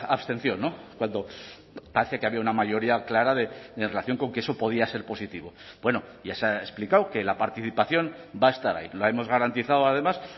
abstención cuando parece que había una mayoría clara en relación con que eso podía ser positivo bueno ya se ha explicado que la participación va a estar ahí la hemos garantizado además